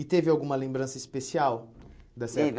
E teve alguma lembrança especial dessa? Teve